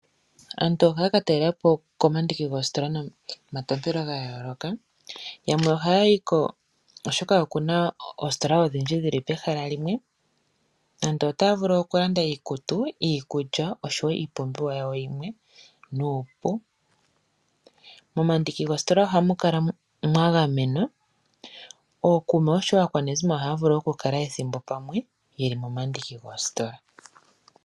Aantu ohaya ka talela po komandingi goositola ga yooloka. Yamwe ohaya yi ko, oshoka oku na oositola odhindji dhi li pehala limwe. Aantu otaya vulu okulanda iikutu, iikulya noshowo iipumbiwa yawo yimwe nuupu. Momandiki goositola ohamu kala mwa gamenwa. Ookuume oshowo aakwanezimo ohaya vulu okukala ethimbo pamwe ye li momandiki goositola.